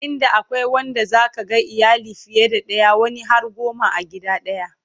inda akwai Wanda zaka ga iyali fiye da daya wani har goma a gida daya